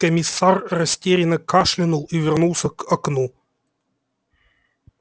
комиссар растерянно кашлянул и вернулся к окну